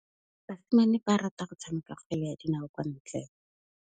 Basimane ba rata go tshameka kgwele ya dinaô kwa ntle.